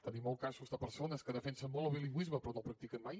tenim molts casos de persones que defensen molt el bilingüisme però no el practiquen mai